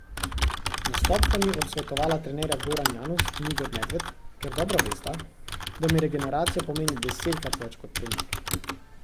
Nastop sta mi odsvetovala trenerja Goran Janus in Igor Medved, ker dobro vesta, da mi regeneracija pomeni desetkrat več kot trening.